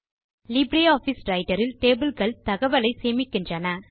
LibreOffice Writer இல் table கள் தகவலை சேமிக்கின்றன